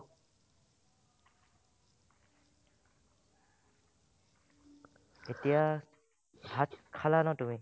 এতিয়া, ভাত খালা ন তুমি ?